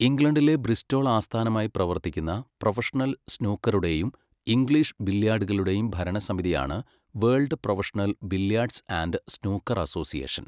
ഇംഗ്ലണ്ടിലെ ബ്രിസ്റ്റോൾ ആസ്ഥാനമായി പ്രവർത്തിക്കുന്ന പ്രൊഫഷണൽ സ്നൂക്കറുടെയും ഇംഗ്ലീഷ് ബില്ല്യാർഡുകളുടെയും ഭരണസമിതിയാണ് world professional billiards and snooker association.